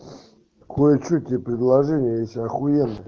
кое-что тебе предложение есть охуенное